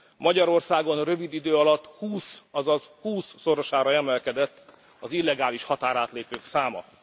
Magyarországon rövid idő alatt húsz azaz hússzorosára emelkedett az illegális határátlépők száma.